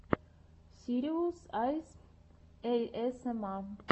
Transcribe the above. сириус айс эйэсэма